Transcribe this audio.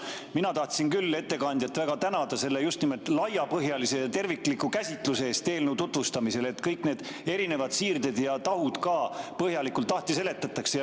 Mina tahtsin küll ettekandjat väga tänada selle just nimelt laiapõhjalise ja tervikliku käsitluse eest eelnõu tutvustamisel, kus kõik need erinevad siirded ja tahud ka põhjalikult lahti seletati.